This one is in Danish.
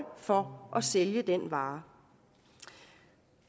for at sælge den vare